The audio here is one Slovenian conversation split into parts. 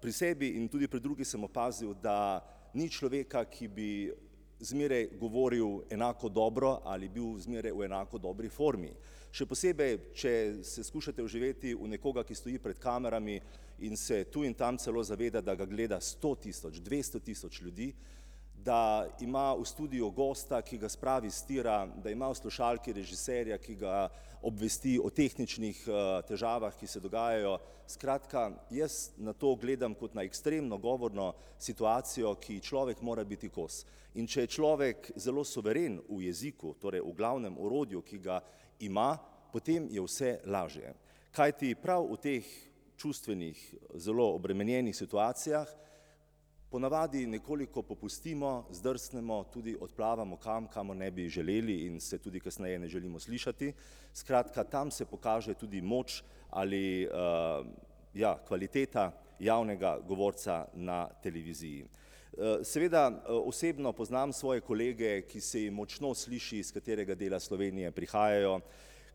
pri sebi in tudi pri drugih sem opazil, da ni človeka, ki bi zmeraj govoril enako dobro ali bil zmeraj v enako dobri formi. Še posebej, če se skušate vživeti v nekoga, ki stoji pred kamerami in se tu in tam celo zaveda, da ga gleda sto tisoč, dvesto tisoč ljudi, da ima v studiu gosta, ki ga spravi s tira, da ima v slušalki režiserja, ki ga obvesti o tehničnih težavah, ki se dogajajo. Skratka, jaz na to gledam kot na ekstremno govorno situacijo, ki ji človek mora biti kos. In če je človek zelo suveren v jeziku, torej v glavnem orodju, ki ga ima, potem je vse lažje. Kajti prav v teh čustvenih, zelo obremenjenih situacijah, ponavadi nekoliko popustimo, zdrsnemo in tudi odplavamo kam, kamor ne bi želeli in se tudi kasneje ne želimo slišati. Skratka, tam se pokaže tudi moč ali ja, kvaliteta javnega govorca na televiziji. Seveda osebno poznam svoje kolege, ki se jim močno sliši, s katerega dela Slovenije prihajajo,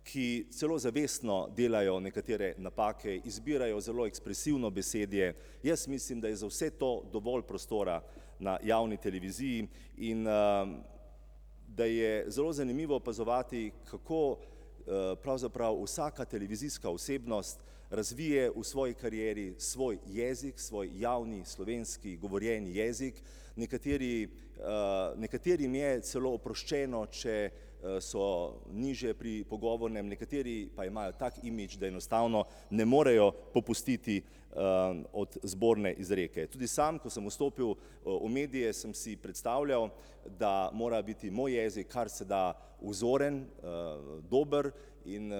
ki celo zavestno delajo nekatere napake, izbirajo zelo ekspresivno besedje. Jaz mislim, da je za vse to dovolj prostora na javni televiziji in da je zelo zanimivo opazovati, kako pravzaprav vsaka televizijska osebnost razvije v svoji karieri svoj jezik, svoj javni slovenski govorjeni jezik, nekateri, nekaterim je celo oproščeno, če so nižje pri pogovornem, nekateri pa imajo tak imidž, da enostavno ne morejo popustiti od zborne izreke. Tudi sam, ko sem vstopil v medije, sem si predstavljal, da mora biti moj jezik kar se da vzoren, dober, in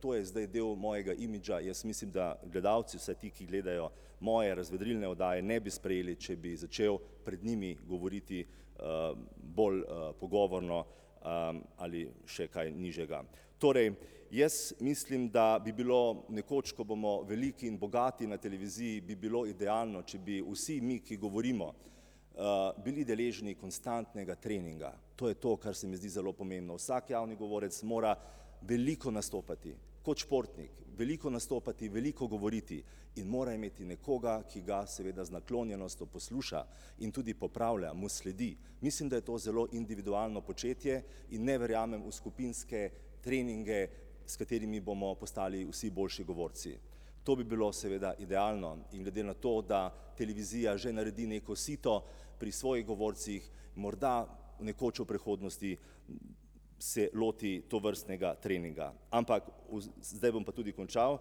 to je zdaj del mojega imidža, jaz mislim, da gledalci, vsaj ti, ki gledajo moje razvedrilne oddaje, ne bi sprejeli, če bi začel pred njimi govoriti bolj pogovorno ali še kaj nižjega. Torej, jaz mislim, da bi bilo nekoč, ko bomo veliki in bogati na televiziji, bi bilo idealno, če bi vsi mi, ki govorimo, bili deležni konstantnega treninga. To je to, kar se mi zdi zelo pomembno. Vsak javni govorec mora veliko nastopati kot športnik, veliko nastopati, veliko govoriti in mora imeti nekoga, ki ga seveda z naklonjenostjo posluša in tudi popravlja, mu sledi. Mislim, da je to zelo individualno početje in ne verjamem v skupinske treninge, s katerimi bomo postali vsi boljši govorci. To bi bilo seveda idealno in glede na to, da televizija že naredi neko sito pri svojih govorcih, morda, nekoč v prihodnosti, se loti tovrstnega treninga. Ampak zdaj bom pa tudi končal.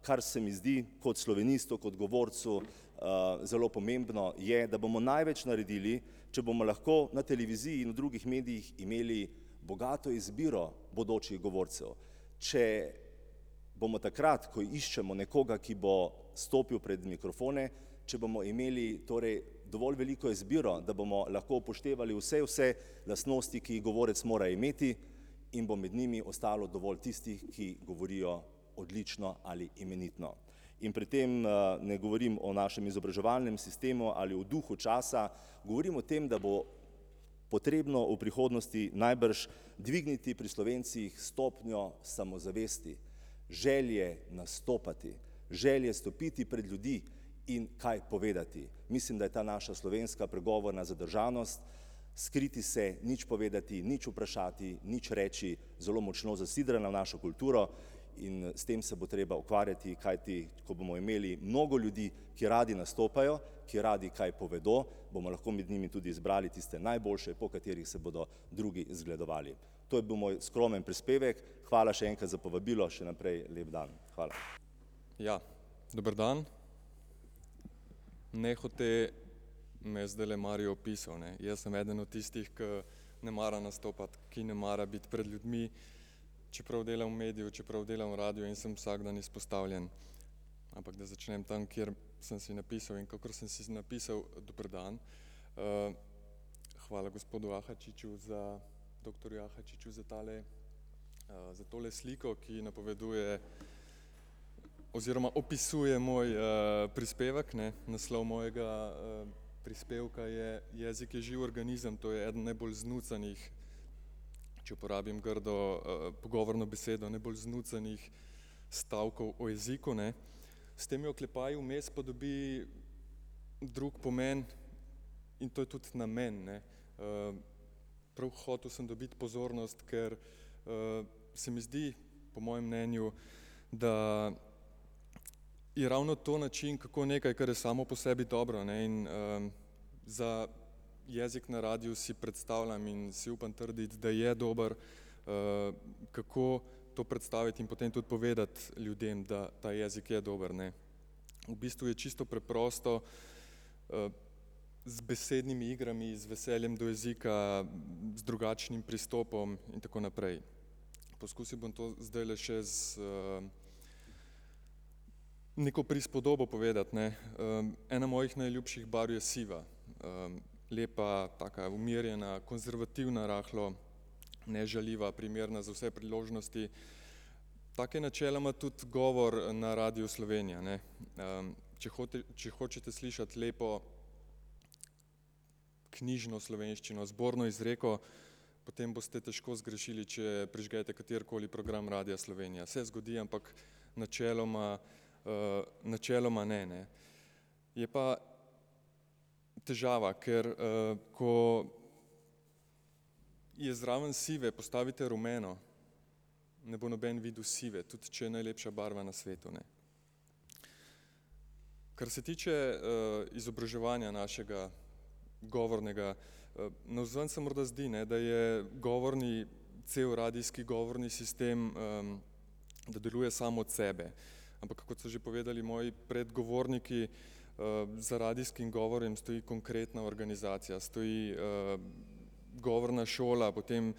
Kar se mi zdi kot slovenistu, kot govorcu zelo pomembno, je, da bomo največ naredili, če bomo lahko na televiziji in v drugih medijih imeli bogato izbiro bodočih govorcev. Če bomo takrat, ko iščemo nekoga, ki bo stopil pred mikrofone, če bomo imeli torej dovolj veliko izbiro, da bomo lahko upoštevali vse, vse lastnosti, ki jih govorec mora imeti, in bo med njimi ostalo dovolj tistih, ki govorijo odlično ali imenitno. In pri tem ne govorim o našem izobraževalnem sistemu ali o duhu časa, govorim o tem, da bo potrebno v prihodnosti najbrž dvigniti pri Slovencih stopnjo samozavesti, želje nastopati, želje stopiti pred ljudi in kaj povedati. Mislim, da je ta naša slovenska pregovorna zadržanost, skriti se, nič povedati, nič vprašati, nič reči, zelo močno zasidrana v našo kulturo in s tem se bo treba ukvarjati, kajti ko bomo imeli mnogo ljudi, ki radi nastopajo, ki radi kaj povedo, bomo lahko med njimi tudi izbrali tiste najboljše, po katerih se bodo drugi zgledovali. To je bil moj skromen prispevek, hvala še enkrat za povabilo, še naprej lep dan. Hvala. Ja. Dober dan. Nehote me je zdajle Mario opisal, ne, jaz sem eden od tistih, ki ne mara nastopati, ki ne mara biti pred ljudmi, čeprav delam v mediju, čeprav delam v radiu in sem vsak dan izpostavljen. Ampak, da začnem tam, kjer sem si napisal in kakor sem si napisal, dober dan. Hvala gospodu Ahačiču za, doktorju Ahačiču za tale, za tole sliko, ki napoveduje oziroma opisuje moj prispevek, ne. Naslov mojega prispevka je jezik je živ organizem, to je eden najbolj znucanih, če uporabim grdo pogovorno besedo, najbolj znucanih stavkov o jeziku, ne. S temi oklepaji vmes pa dobi drug pomen in to je tudi namen, ne. Prav hotel sem dobiti pozornost, ker se mi zdi, po mojem mnenju, da je ravno to način, kako nekaj, kar je samo po sebi dobro, ne, in za jezik na radiu si predstavljam in si upam trditi, da je dobro. Kako to predstaviti in potem tudi povedati ljudem, da ta jezik je dober, ne. V bistvu je čisto preprosto, z besednimi igrami in z veseljem do jezika, z drugačnim pristopom in tako naprej. Poskusil bom to zdajle še s neko prispodobo povedati, ne. Ena mojih najljubših barv je siva. Lepa, taka umirjena, konzervativna rahlo, nežaljiva, primerna za vse priložnosti. Tako je načeloma tudi govor na Radiu Slovenija, ne. Če hote če hočete slišati lepo, knjižno slovenščino, zborno izreko, potem boste težko zgrešili, če prižgete katerikoli program Radia Slovenija, se zgodi, ampak načeloma, načeloma ne, ne. Je pa težava, ker ko zraven sive postavite rumeno, ne bo noben videl sive, tudi če je najlepša barva na svetu, ne. Kar se tiče izobraževanja našega govornega, navzven se morda zdi, ne, da je govorni cel radijski govorni sistem, da deluje sam od sebe. Ampak kot so že povedali moji predgovorniki, za radijskim govorom stoji konkretna organizacija, stoji govorna šola, potem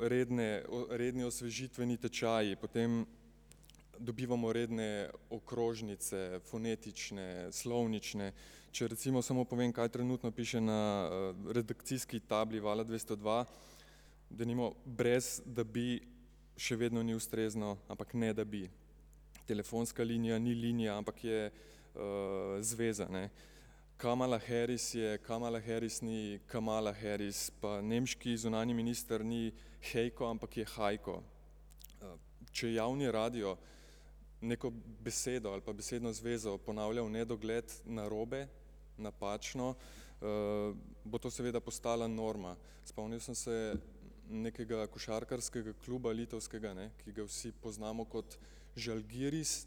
redne redni osvežitveni tečaji, potem dobivamo redne okrožnice, fonetične, slovnične, če recimo samo povem, kaj trenutno piše na redakcijski tabli Vala dvesto dva, denimo, brez da bi še vedno ni ustrezno, ampak: ne da bi. Telefonska linija ni linija, ampak je zveza, ne. Kamala Harris je Kamala Harris, ni Kamala Harris, pa nemški zunanji minister ni Heiko, ampak je Heiko. Če javni radio neko besedo ali pa besedno zvezo ponavlja v nedogled narobe, napačno, bo to seveda postala norma. Sem se spomnil nekega košarkarskega kluba litovskega, ne, ki ga vsi poznamo kot Žalgiris.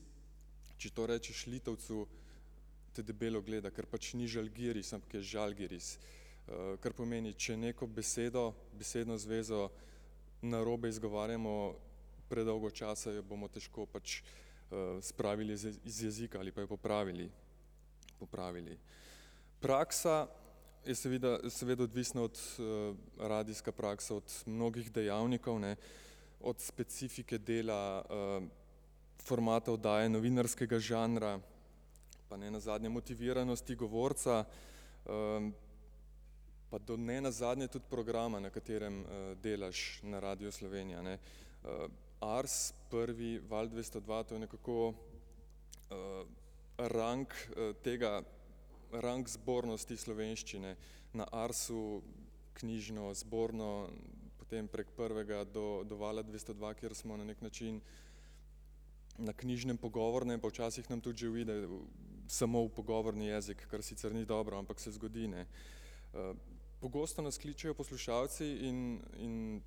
Če to rečeš Litovcu, te debelo gleda, ker pač ni Žalgiris, ampak Žalgiris. Kar pomeni, če neko besedo, besedno zvezo narobe izgovarjamo predolgo časa, jo bomo težko pač spravili z z jezika ali pa jo popravili. Popravili. Praksa je seveda, seveda odvisna od, radijska praksa, od mnogih dejavnikov, ne. Od specifike dela formata oddaje, novinarskega žanra, pa nenazadnje motiviranosti govorca pa do nenazadnje tudi programa, na katerem delaš na Radiu Slovenija, ne. Ars, Prvi, Val dvesto dva, to je nekako rang tega, rang zbornosti slovenščine. Na Arsu knjižno, zborno, potem prek Prvega do do Vala dvesto dva, kjer smo na neki način na knjižnem pogovornem, pa včasih nam tudi že uide samo v pogovorni jezik, kar sicer ni dobro, ampak se zgodi, ne. Pogosto nas kličejo poslušalci in in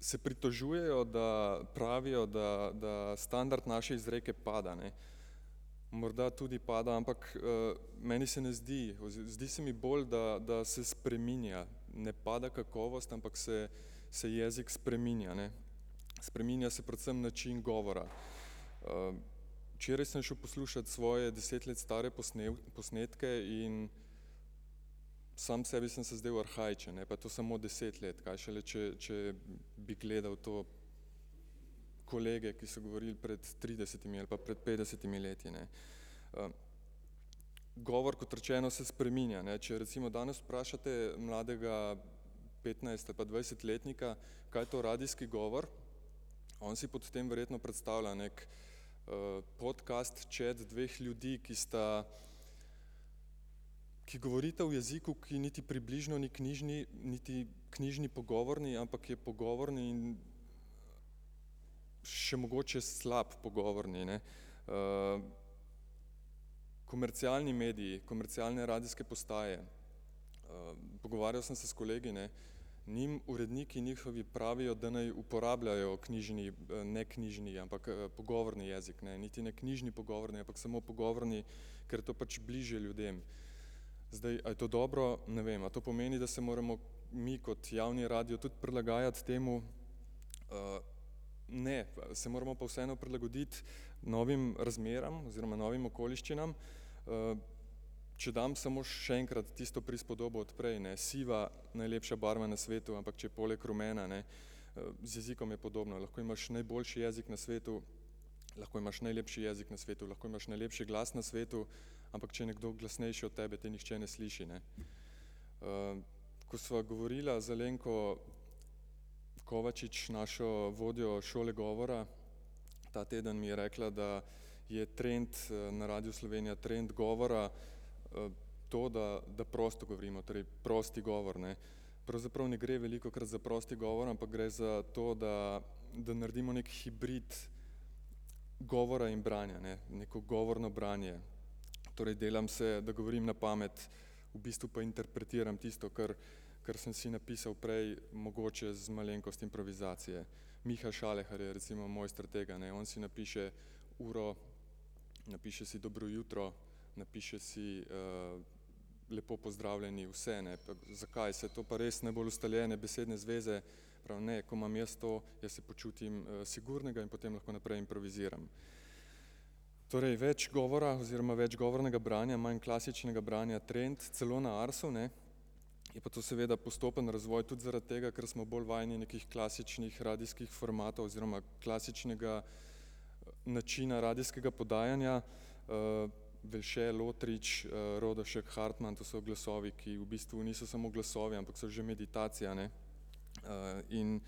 se pritožujejo, da, pravijo, da da standard naše izreke pada, ne. Morda tudi pada, ampak meni se ne zdi, zdi se mi bolj, da da se spreminja, ne pada kakovost, ampak se se jezik spreminja, ne. Spreminja se predvsem način govora. Včeraj sem šel poslušat svoje deset let stare posnetke in sam sebi sem se zdel arhaičen, ne, pa to samo deset let, kaj šele, če če bi gledal to kolege, ki so govorili pred tridesetimi ali pa pred petdesetimi leti, ne. Govor, kot rečeno, se spreminja, ne, če recimo danes vprašate mladega petnajst- ali pa dvajsetletnika, kaj je to radijski govor, oni si pod tem verjetno predstavlja neki podkast, chat dveh ljudi, ki sta, ki govorita v jeziku, ki niti približno ni knjižni, niti knjižni pogovorni, ampak je pogovorni in še mogoče slab pogovorni, ne. Komercialni mediji, komercialne radijske postaje. Pogovarjal sem se s kolegi, ne, njim uredniki njihovi pravijo, da naj uporabljajo knjižni, neknjižni, ampak pogovorni jezik, ne, niti ne knjižni pogovorni, ampak samo pogovorni, kar je to pač bližje ljudem. Zdaj, a je to dobro, ne vem. A to pomeni, da se moramo mi kot javni radio tudi prilagajati temu. Ne, se moramo pa vseeno prilagoditi novim razmeram oziroma novim okoliščinam. Če dam samo še enkrat tisto prispodobo od prej, ne, siva, najlepša barva na svetu, ampak, če je poleg rumena, ne. Z jezikom je podobno, lahko imaš najboljši jezik na svetu, lahko imaš najlepši jezik na svetu, lahko imaš najlepši glas na svetu, ampak če je nekdo glasnejši od tebe, te nihče ne sliši, ne. Ko sva govorila z Alenko Kovačič, našo vodjo šole govora, ta teden mi je rekla, da je trend na Radiu Slovenija trend govora to, da, da prosto govorimo, torej prosti govor, ne. Pravzaprav ne gre velikokrat za prosti govor, ampak gre za to, da da naredimo neki hibrid govora in branja, ne, neko govorno branje. Torej delam se, da govorim na pamet, v bistvu pa interpretiram tisto, kar kar sem si napisal prej, mogoče z malenkost improvizacije. [ime in priimek] je recimo mojster tega, ne, on si napiše uro, napiše si dobro jutro, napiše si lepo pozdravljeni, vse, ne. Zakaj ne, saj to pa res najbolj ustaljene besedne zveze. Pravi: "Ne, ko imam jaz to, jaz se počutim sigurnega in potem lahko naprej improviziram." Torej več govora oziroma več govornega branja, manj klasičnega branja trend, celo na Arsu, ne, je pa to seveda postopen razvoj, tudi zaradi tega, ker smo bolj vajeni nekih klasičnih radijskih formatov oziroma klasičnega načina radijskega podajanja. [ime in priimek] , [ime in priimek] , to so glasovi, ki v bistvu niso samo glasovi, ampak so že meditacija, ne. In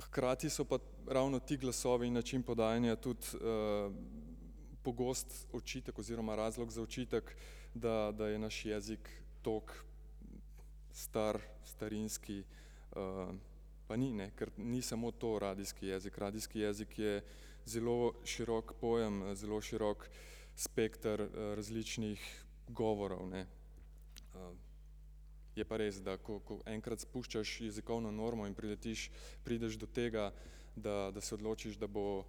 hkrati so pa ravno ti glasovi, način podajanja, tudi pogosto očitek oziroma razlog za očitek, da da je naš jezik tako star, starinski, pa ni, ne, kar ni samo to radijski jezik, radijski jezik je zelo širok pojem, zelo širok spekter različnih govorov, ne. Je pa res, da ko ko enkrat spuščaš jezikovno normo in priletiš, prideš do tega, da da se odločiš, da bo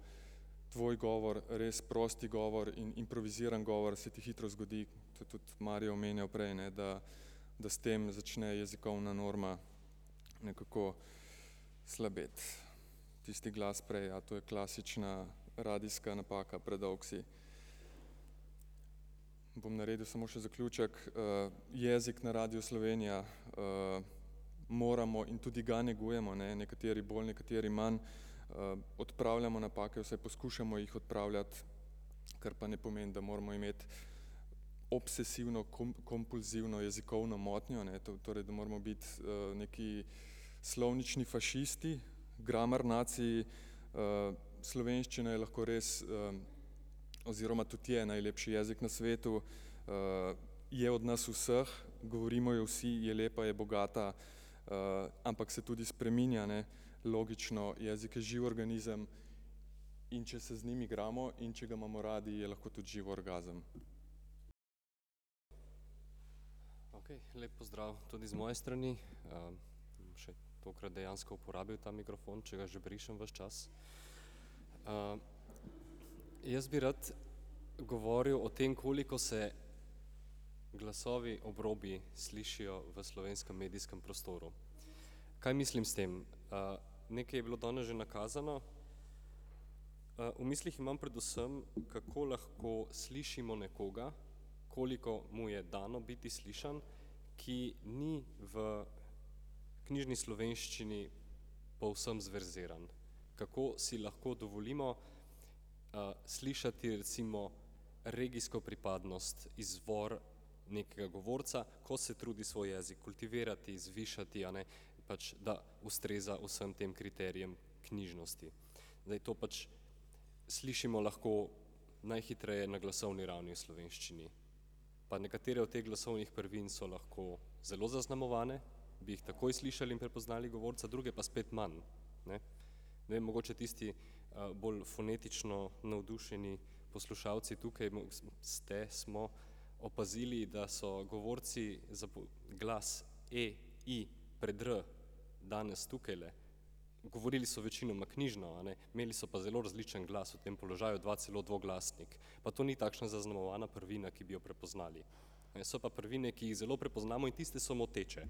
tvoj govor res prosti govor in improviziran govor, se ti hitro zgodi, to tudi Mario omenjal prej, ne, da da s tem začne jezikovna norma nekako slabeti. Tisti glas prej, ja, to je klasična radijska napaka, predolg si. Bom naredil samo še zaključek. Jezik na Radiu Slovenija moramo in tudi ga negujemo, ne, nekateri bolj, nekateri manj. Odpravljamo napake, vsaj poskušamo jih odpravljati, kar pa ne pomeni, da moramo imeti obsesivno-komp-() kompulzivno jezikovno motnjo, ne, torej, da moramo biti neki slovnični fašisti, grammar naciji. Slovenščina je lahko res oziroma tudi je najlepši jezik na svetu. Je od nas vseh, govorimo jo vsi, je lepa, je bogata. Ampak se tudi spreminja, ne, logično, jezik je živ organizem, in če se z njim igramo in če ga imamo radi, je lahko tudi živ orgazem. Lep pozdrav tudi iz moje strani. Bom še dejansko uporabil ta mikrofon, če ga že brišem ves čas. Jaz bi rad govoril o tem, koliko se glasovi obrobij slišijo v slovenskem medijskem prostoru. Kaj mislim s tem? Nekaj je bilo danes že nakazano. V mislih imam predvsem, kako lahko slišimo nekoga, koliko mu je dano biti slišan, ki ni v knjižni slovenščini povsem zverziran, kako si lahko dovolimo slišati recimo regijsko pripadnost, izvor nekega govorca, ko se trudi svoj jezik kultivirati, zvišati, a ne, pač da ustreza vsem tem kriterijem knjižnosti. Zdaj to pač slišimo lahko najhitreje na glasovni ravni v slovenščini pa nekatere od teh glasovnih prvin so lahko zelo zaznamovane, bi jih takoj slišali in prepoznali govorca, druge pa spet manj, ne. Zdaj mogoče tisti, bolj fonetično navdušeni poslušalci tukaj ste, smo opazili, da so govorci glas e, i pred r danes tukajle govorili so večinoma knjižno, a ne, imeli so pa zelo različno glas v tem položaju, dva celo dvoglasnik. Pa to ni takšna zaznamovana prvina, ki bi jo prepoznali, so pa prvine, ki jih zelo prepoznamo in tiste so moteče.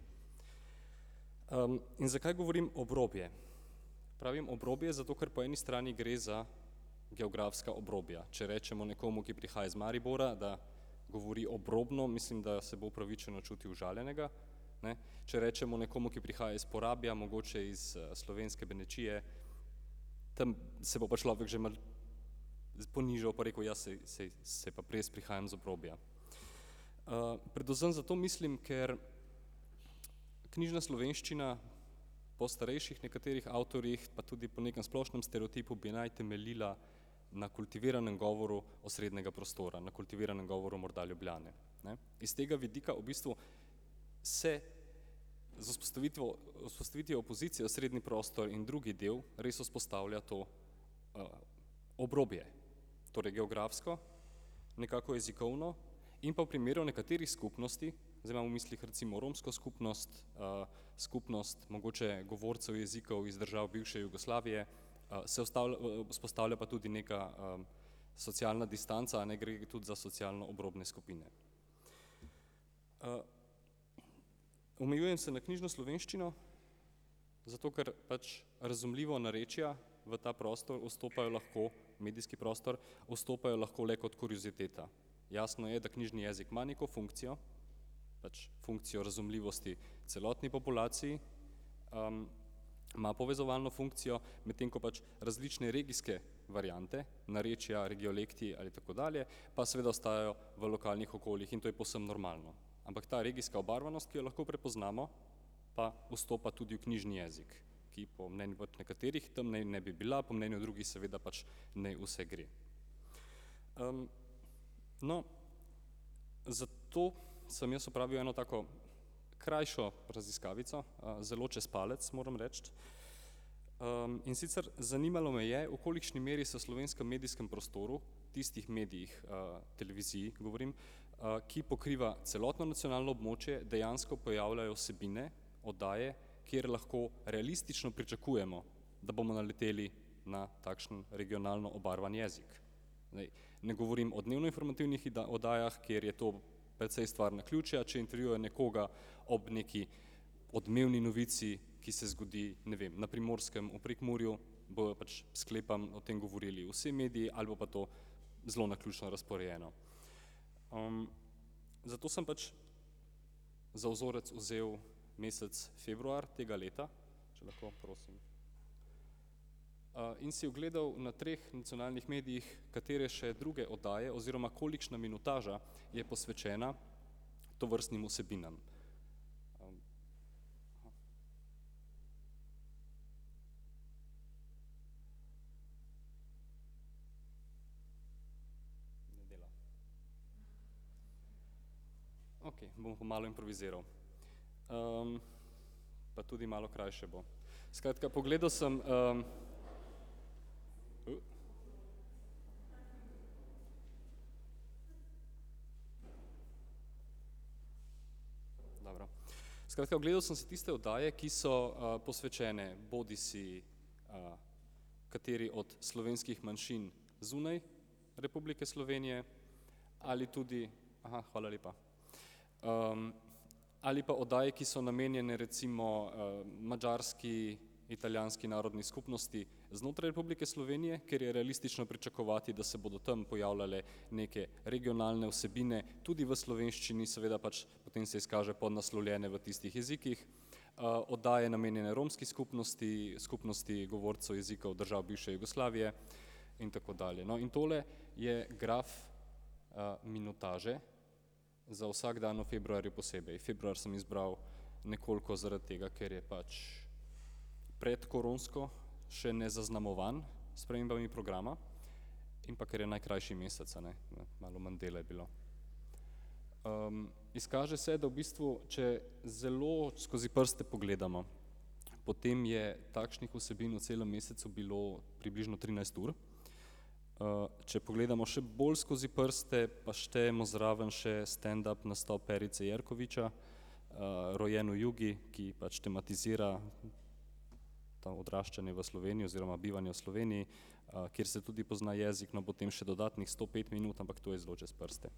In zakaj govorim obrobje? Pravim obrobje, zato ker po eni strani gre za geografska obrobja, če rečemo nekomu, ki prihaja iz Maribora, da govori obrobno, mislim, da se bo upravičeno čutil užaljenega, ne, če rečemo nekomu, ki prihaja iz Porabja, mogoče iz slovenske Benečije, tam se bo pa človek že malo ponižal pa rekel, ja, saj, saj, saj pa res prihajam iz obrobja. Predvsem zato mislim, ker knjižna slovenščina po starejših nekaterih avtorjih pa tudi po nekem splošnem stereotipu bi naj temeljila na kultiviranem govoru osrednjega prostora, na kultiviranem govoru morda Ljubljane, ne. Iz tega vidika v bistvu se z vzpostavitvo, z vzpostavitvijo opozicije osrednji prostor in drugi del res vzpostavlja to obrobje. Torej geografsko, nekako jezikovno, in pa v primeru nekaterih skupnosti, zdaj imam v mislih recimo romsko skupnost, skupnost mogoče govorcev jezikov iz držav bivše Jugoslavije, se vzpostavlja pa tudi neka socialna distanca, ne, gre tudi za socialno obrobne skupine. Omejujem se na knjižno slovenščino, zato ker pač razumljivo narečna v ta prostor vstopajo lahko, medijski prostor vstopajo lahko le kot horiziteta. Jasno je, da knjižni jezik ima neko funkcijo, pač funkcijo razumljivosti celotni populaciji, ima povezovalno funkcijo, medtem ko pač različne regijske variante narečja, regiolekti in tako dalje pa seveda ostajajo v lokalnih okoljih in to je povsem normalno. Ampak ta regijska obarvanost, ki jo lahko prepoznamo, pa vstopa tudi v knjižni jezik, ki po mnenju nekaterih tam naj ne bi bila, po mnenju drugih seveda pač ne vse gre. No, zato sem jaz opravil eno tako krajšo raziskavico zelo čez palec, moram reči. In sicer zanimalo me je, v kolikšni meri se v slovenskem medijskem prostoru, tistih medijih, televizij govorim, ki pokriva celotno nacionalno območje, dejansko pojavljajo vsebine, oddaje, kjer lahko realistično pričakujemo, da bomo naleteli na takšen regionalno obarvan jezik. Zdaj ne govorim o dnevnoinformativnih oddajah, kjer je to precej stvar naključja, če intervjuja nekoga ob nekaj odmevni novici, ki se zgodi, ne vem, na Primorskem, v Prekmurju, bojo pač, sklepam, o tem govorili vsi mediji ali bo pa to zelo naključno razporejeno. Zato sem pač za vzorec vzel mesec februar tega leta, če lahko, prosim. In si ogledal na treh nacionalnih medijih, katere še druge oddaje oziroma kolikšna minutaža je posvečena tovrstnim vsebinam. Okej, bom pa malo improviziral. Pa tudi malo krajše bo. Skratka, pogledal sem Dobro. Skratka ogledal sem si tiste oddaje, ki so posvečene bodisi kateri od slovenskih manjšin zunaj Republike Slovenije ali tudi, hvala lepa. Ali pa oddaje, ki so namenjene recimo madžarski, italijanski narodni skupnosti znotraj Republike Slovenije, kjer je realistično pričakovati, da se bodo tam pojavljale neke regionalne vsebine, tudi v slovenščini seveda pač, potem se izkaže podnaslovljene v tistih jezikih. Oddaje namenjene romski skupnosti, skupnosti govorcev jezikov držav bivše Jugoslavije in tako dalje, no, in tole je graf minutaže za vsak dan v februarju posebej, februar sem izbral nekoliko zaradi tega, ker je pač predkoronsko še nezaznamovan s spremembami programa. In pa ker je najkrajši mesec, a ne, ne, malo manj dela je bilo. Izkaže se, da v bistvu, če zelo skozi prste pogledamo, potem je takšnih vsebin v celem mesecu bilo približno trinajst ur, če pogledamo še bolj skozi prste pa štejemo zraven še standup nastope [ime in priimek] , rojen v Jugi, ki pač tematizira to odraščanje v Sloveniji oziroma bivanje v Sloveniji, kjer se tudi pozna jezik, no, potem še dodatnih sto pet minut, ampak to je zelo čez prste.